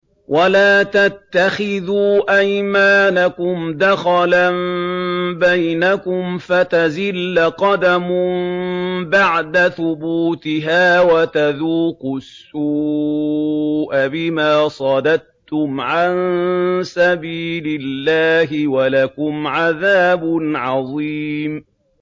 وَلَا تَتَّخِذُوا أَيْمَانَكُمْ دَخَلًا بَيْنَكُمْ فَتَزِلَّ قَدَمٌ بَعْدَ ثُبُوتِهَا وَتَذُوقُوا السُّوءَ بِمَا صَدَدتُّمْ عَن سَبِيلِ اللَّهِ ۖ وَلَكُمْ عَذَابٌ عَظِيمٌ